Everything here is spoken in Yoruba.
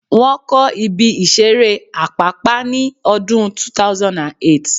Wọ́n kọ́ ibi ìseré Àpápá ní ọdún 2008